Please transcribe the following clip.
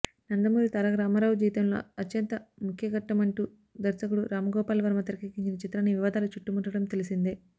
నందమూరి తారక రామారావు జీవితంలో అత్యంత ముఖ్యఘట్టమంటూ దర్శకుడు రామ్గోపాల్ వర్మ తెరకెక్కించిన చిత్రాన్ని వివాదాలు చుట్టుముట్టడం తెలిసిందే